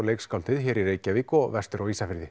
leikskáldið hér í Reykjavík og vestur á Ísafirði